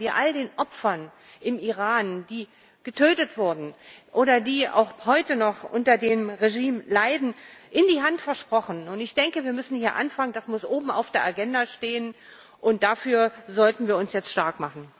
Das haben wir all den Opfern im Iran, die getötet wurden oder die auch heute noch unter dem Regime leiden, in die Hand versprochen, und ich denke, hier müssen wir anfangen, das muss oben auf der Agenda stehen, und dafür sollten wir uns jetzt stark machen.